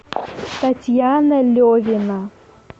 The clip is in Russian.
татьяна левина